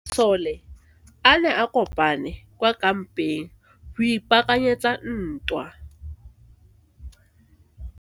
Masole a ne a kopane kwa kampeng go ipaakanyetsa ntwa.